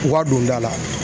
U ka don da la